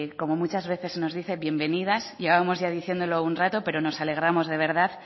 como muchas veces nos dice bienvenidas llevamos ya diciéndolo un rato pero nos alegramos de verdad